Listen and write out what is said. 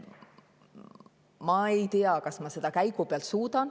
Ma ei tea, kas ma seda käigupealt suudan.